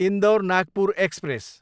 Indore, Nagpur express